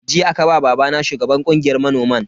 Jiya aka ba babana shugaban kungiyar manoman.